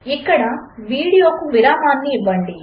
ఇక్కడ వీడియోకు విరామము ఇవ్వండి